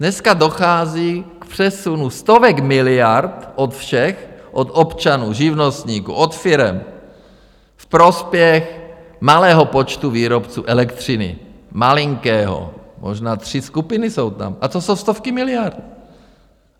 Dneska dochází k přesunu stovek miliard od všech, od občanů, živnostníků, od firem ve prospěch malého počtu výrobců elektřiny, malinkého, možná tři skupiny jsou tam, a to jsou stovky miliard.